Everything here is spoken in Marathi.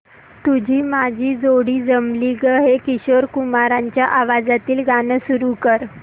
तुझी माझी जोडी जमली गं हे किशोर कुमारांच्या आवाजातील गाणं सुरू कर